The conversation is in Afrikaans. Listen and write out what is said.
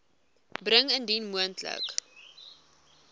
bring indien moontlik